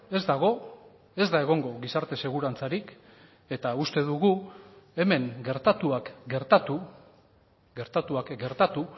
ez dago ez da egongo gizarte segurantzarik eta uste dugu hemen gertatuak gertatu gertatuak gertatu